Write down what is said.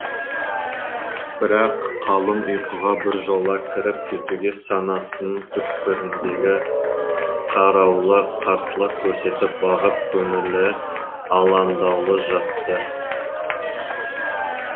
бірақ қалың ұйқыға біржола кіріп кетуге санасының түкпіріндегі қарауылы қарсылық көрсетіп бағып көңілі алаңдаулы жатты